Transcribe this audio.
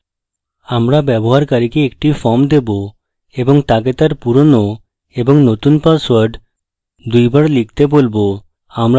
আমরা ব্যবহারকারীকে একটি form দেবো এবং তাকে তার পুরনো এবং নতুন পাসওয়ার্ড দুইবার লিখতে বলব